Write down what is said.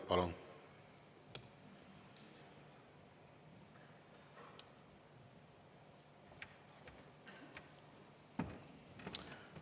Palun!